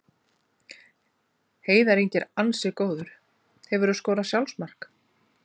Heiðar Ingi er ansi góður Hefurðu skorað sjálfsmark?